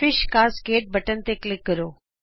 fish cascade button ਤੇ click ਕਰੋ